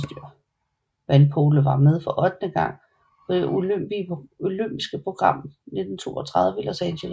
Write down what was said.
Vandpolo var med for ottende gang på det olympiske program 1932 i Los Angeles